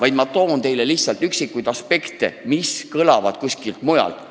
Nimetan lihtsalt üksikuid aspekte, lähenedes asjale ka kuskilt mujalt.